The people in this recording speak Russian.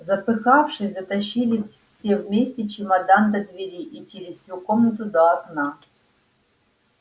запыхавшись дотащили все вместе чемодан до двери и через всю комнату до окна